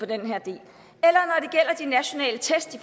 det gælder de nationale test